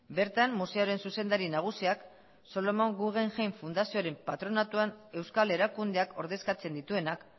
bertan museoaren zuzendari nagusiak solomon guggenheim fundazioaren patronatuan euskal erakundeak ordezkatzen dituenak